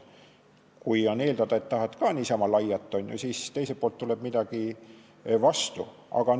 Kui võib eeldada, et sa tahad niisama laiata, siis teiselt poolt tuleb midagi sellist vastu ka.